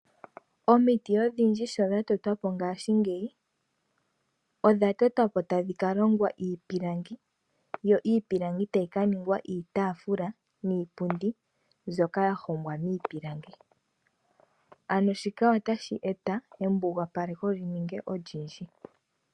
Omiti odhindji sho dha tetwa po ngaashingeyi odha tetwa po tadhi kalongwa iipilangi. Yo iipilangi tayi kaningwa iitaafula niipundi mbyoka ya hongwa miipilangi. Ano shika otashi eta embugapaleko lyi ninge olindji.